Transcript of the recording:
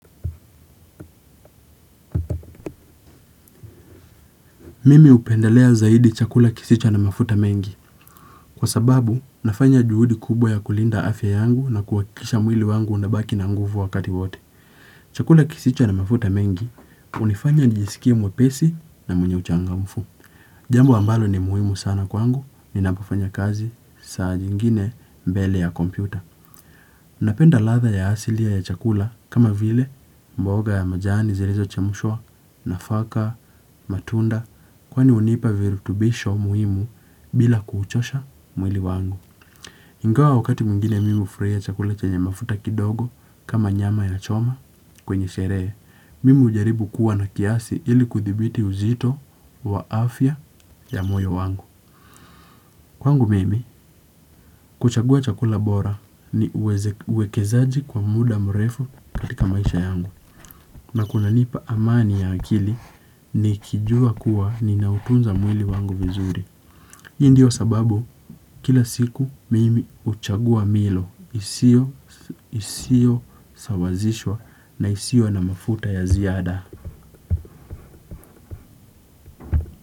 Mimi upendelea zaidi chakula kisicho na mafuta mengi. Kwa sababu, nafanya juhudi kubwa ya kulinda afya yangu na kuhakikisha mwili wangu unabaki na nguvu wakati wote. Chakula kisicho na mafuta mengi, unifanya nijisikie mwepesi na mwenye uchangamfu. Jambo ambalo ni muhimu sana kwangu, ninapofanya kazi saa nyingine mbele ya kompyuta. Napenda ladha ya asilia ya chakula kama vile mboga ya majani zirizo chemshwa, nafaka, matunda, kwani unipa virutubisho muhimu bila kuuchosha mwili wangu. Ingawa wakati mwingine mi ufraia chakula chenye mafuta kidogo kama nyama ya choma kwenye sherehe, mimi ujaribu kuwa na kiasi ili kuthibiti uzito wa afya ya moyo wangu. Kwangu mimi kuchagua chakula bora ni uwekezaji kwa muda mrefu katika maisha yangu na kunanipa amani ya akili nikijua kuwa ninautunza mwili wangu vizuri. Hii ndiyo sababu kila siku mimi uchagua milo isio sawazishwa na isio na mafuta ya ziada.